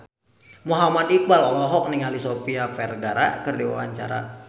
Muhammad Iqbal olohok ningali Sofia Vergara keur diwawancara